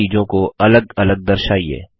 दो नतीजों को अलग अलग दर्शाइए